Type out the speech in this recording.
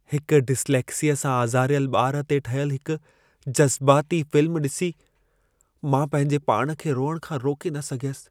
हिक डिस्लेक्सिया सां आज़ारियल ॿार ते ठहियल हिक जज़बाती फ़िल्म ॾिसी, मां पंहिंजे पाण खे रोइण खां रोके न सघियसि।